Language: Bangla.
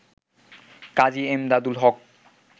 কাজী এমদাদুল হক